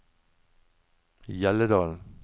Hjelledalen